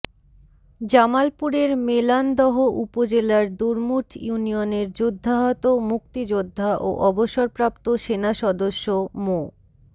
জামালপুরের মেলান্দহ উপজেলার দুরমুঠ ইউনিয়নের যুদ্ধাহত মুক্তিযোদ্ধা ও অবসরপ্রাপ্ত সেনাসদস্য মো